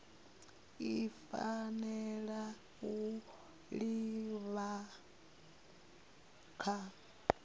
i fanela u livha kha